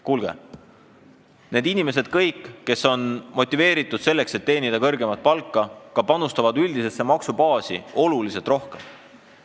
Kuulge, need inimesed, kes on motiveeritud, et teenida kõrgemat palka, ka panustavad üldisesse maksubaasi oluliselt rohkem.